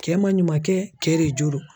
Cɛ man ɲuman kɛ kɛ de jo do.